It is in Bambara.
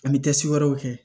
An bɛ wɛrɛw kɛ